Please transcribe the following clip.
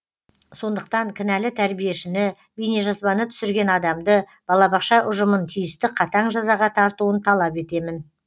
сондықтан кінәлі тәрбиешіні бейнежазбаны түсірген адамды балабақша ұжымын тиісті қатаң жазаға тартуын талап етемін